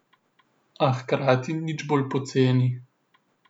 A hkrati nič bolj poceni.